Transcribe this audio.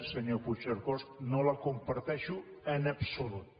senyor puigcercós no la comparteixo en absolut